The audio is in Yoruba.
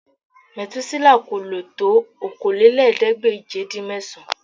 Mètúsélà kò lò tó Okòólélẹ́ẹ̀ẹ́dégbèje-dín-mẹ́sàn-án